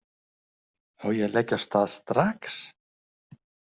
Á ég að leggja af stað strax?